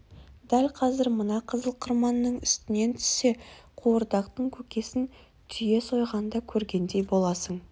дәл қазір мына қызыл қырманның үстінен түссе қуырдақтың көкесін түйе сойғанда көргендей боласың